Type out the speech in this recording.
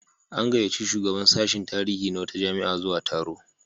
An gayyaci shugaban sashin tarihi na wata jami'a zuwa taro.